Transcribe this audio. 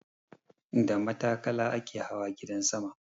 Da matakala ake hawa gidan sama.